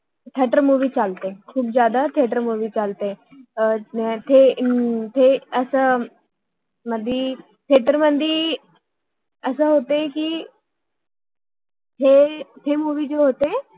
theatre movie theater movie चालते ते आता खुप जास्त थेटर मोवी theater movie चालते थेटर theater मध्ये असे होते कि हे मोवी movie जे होते